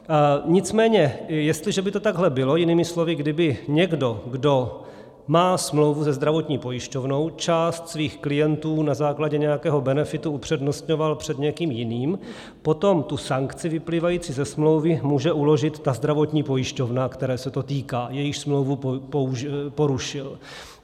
Nicméně jestliže by to takhle bylo, jinými slovy, kdyby někdo, kdo má smlouvu se zdravotní pojišťovnou, část svých klientů na základě nějakého benefitu upřednostňoval před někým jiným, potom tu sankci vyplývající ze smlouvy může uložit ta zdravotní pojišťovna, které se to týká, jejíž smlouvu porušil.